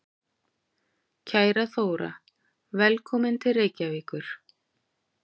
Kæra Þóra. Velkomin til Reykjavíkur.